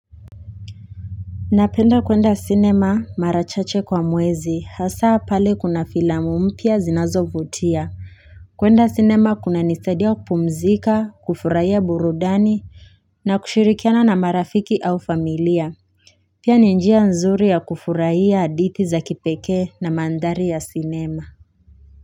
Napenda kwenda cinema marachache kwa mwezi, hasa pale kuna filamu mpya zinazovutia. Kwenda cinema kunanisadia kupumzika, kufurahia burudani, na kushirikiana na marafiki au familia. Pia ni njia nzuri ya kufurahia hadithi za kipekee na mandhari ya cinema.